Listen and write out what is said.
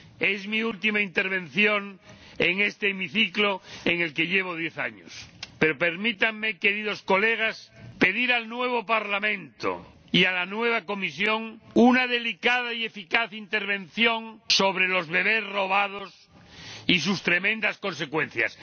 Es mi última intervención en este hemiciclo, en el que llevo diez años, pero permítanme, queridos colegas, pedir al nuevo Parlamento y a la nueva Comisión una delicada y eficaz intervención sobre los bebés robados y sus tremendas consecuencias.